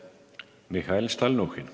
Mihhail Stalnuhhin.